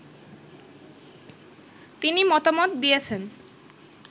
তিনি মতামত দিয়েছেন